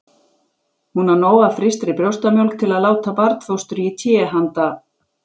Hún á nóg af frystri brjóstamjólk til að láta barnfóstru í té handa